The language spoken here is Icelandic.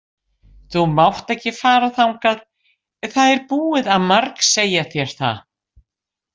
Þú mátt ekki fara þangað, það er búið að margsegja þér það.